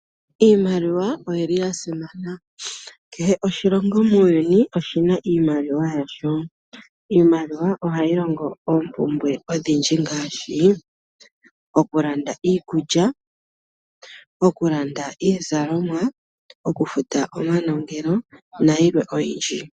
Iimaliwa oya simana. Kehe oshilongo muuyuni oshi na iimaliwa yasho. Iimaliwa ohayi kwathele moompumbwe odhindji ngaashi okulanda iikulya, okulanda iizalomwa, okufuta omanongelo nayilwe oyindji.